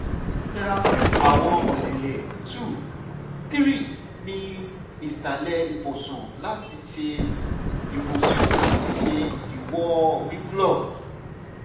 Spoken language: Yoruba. tẹra fun awọn ọlẹlẹ 2 - 3 ni isalẹ ibusun lati ṣe ibusun lati ṣe idiwọ reflux